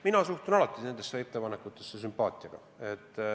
Mina suhtun nendesse ettepanekutesse alati sümpaatiaga.